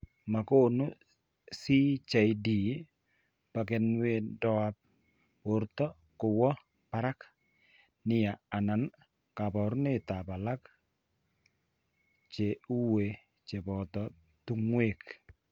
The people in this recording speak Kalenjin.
Ma konu CJD burkeindoap borto kowo baarak nia anan kaabarunetap alak che uu che po tung'wek.